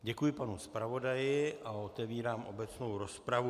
Děkuji panu zpravodaji a otevírám obecnou rozpravu.